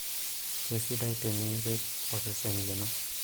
kesidai tenirrip olsesen lino